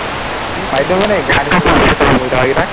চাৰিদিনৰ কাৰণে বহি থকা কেইটাক